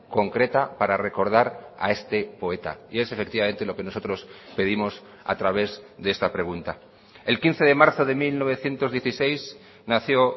concreta para recordar a este poeta y es efectivamente lo que nosotros pedimos a través de esta pregunta el quince de marzo de mil novecientos dieciséis nació